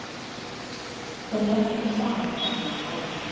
Þeim lenti saman hérna um daginn.